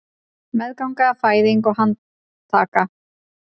Meðganga, fæðing og handtaka